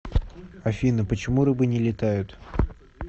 афина почему рыбы не летают